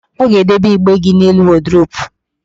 Ọ ga-edebe igbe gị n'elu wọdụrobu